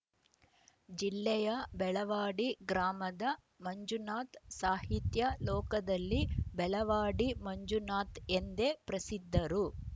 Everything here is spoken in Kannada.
ಜಿಲ್ಲೆಯ ಬೆಳವಾಡಿ ಗ್ರಾಮದ ಮಂಜುನಾಥ್‌ ಸಾಹಿತ್ಯ ಲೋಕದಲ್ಲಿ ಬೆಳವಾಡಿ ಮಂಜುನಾಥ್‌ಎಂದೇ ಪ್ರಸಿದ್ಧರು